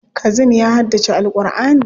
Kazim ya haddace Al'kur'ani.